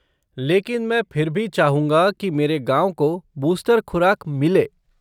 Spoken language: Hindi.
लेकिन मैं फिर भी चाहूँगा कि मेरे गाँव को बूस्टर खुराक मिले।